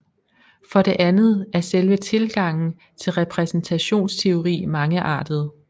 For det andet er selve tilgangen til repræsentationsteori mangeartet